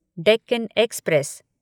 Deccan express